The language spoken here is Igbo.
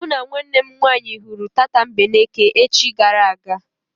Mụ na nwanne m nwaanyị hụrụ tatambeneke echi gara aga.